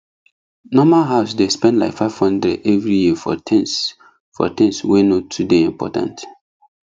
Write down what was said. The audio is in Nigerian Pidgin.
normal house dey spend like 500 every year for things for things wey no too dey important